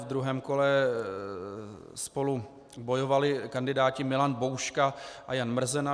Ve druhém kole spolu bojovali kandidáti Milan Bouška a Jan Mrzena.